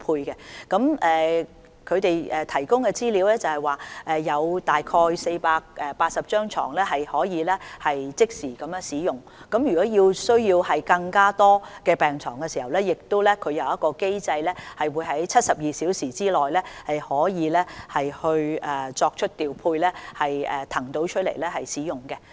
根據醫管局提供的資料，現時有大概480張病床可以即時使用，如果需要更多病床，他們亦有機制可以在72小時之內作出調配，騰空病床使用。